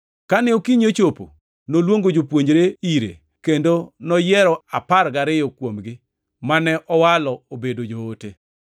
Kane okinyi ochopo, noluongo jopuonjre ire kendo noyiero apar gariyo kuomgi, mane owalo obedo joote: